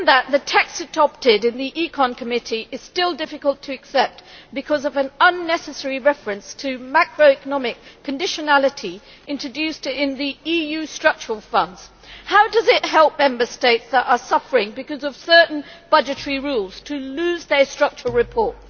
The text adopted in the Committee on Economic and Monetary Affairs is still difficult to accept because of an unnecessary reference to macroeconomic conditionality introduced into the EU structural funds. How does it help Member States that are suffering because of certain budgetary rules to lose their structural reform?